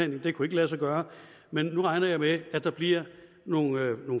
det kunne ikke lade sig gøre men nu regner jeg med at der bliver nogle